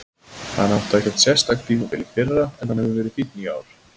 Hann átti ekkert sérstakt tímabil í fyrra en hann hefur verið fínn í ár.